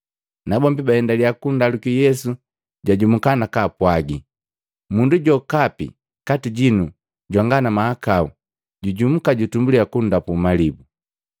Nabombi pabaendaliya kundaluki Yesu jajumuka nakapwaaji, “Mundu jokapi kati jinu jwanga na mahakau jujumuka jutumbuliya kundapu malibu.”